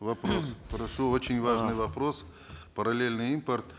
вопрос прошу очень важный вопрос параллельный импорт